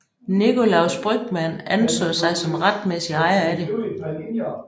Nicolaus Brügmann anså sig som retmæssig ejer af det